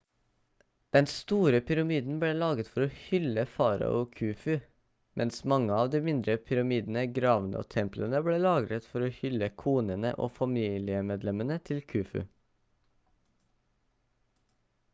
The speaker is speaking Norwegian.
den store pyramiden ble laget for å hylle farao khufu mens mange av de mindre pyramidene gravene og templene ble laget for å hylle konene og familiemedlemmene til khufu